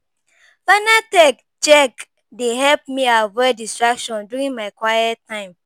Final tech check dey help me avoid distractions during my quiet time.